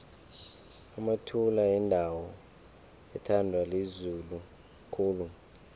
emathula yindawo ethandwa lizulu khulu